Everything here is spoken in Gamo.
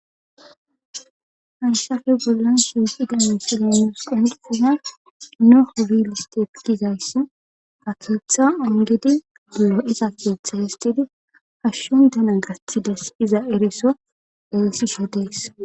haysafe bollan suuxida misile nuus qundsiza noho wiliste gizayss atoetha ongedi buo isa koetha histidi hashshondana gastides iza eriso eesisho deess